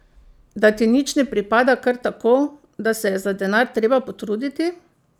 Da ti nič ne pripada kar tako, da se je za denar treba potruditi?